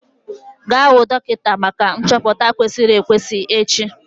Gaa hụ dọkịta maka nchọpụta kwesịrị ekwesị echi!